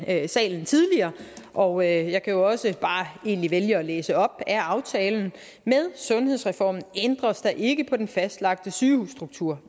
her i salen tidligere og jeg kan jo egentlig også bare vælge at læse op af aftalen med sundhedsreformen ændres der ikke på den fastlagte sygehusstruktur